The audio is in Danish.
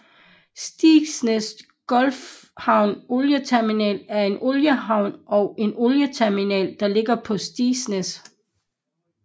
Stigsnæs Gulfhavn Olie Terminal er en oliehavn og en olieterminal der ligger på Stigsnæs